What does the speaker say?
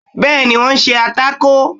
bẹẹni wọn ṣe atákò